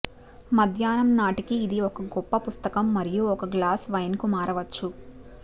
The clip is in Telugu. మధ్యాహ్నం నాటికి ఇది ఒక గొప్ప పుస్తకం మరియు ఒక గ్లాసు వైన్ కు మారవచ్చు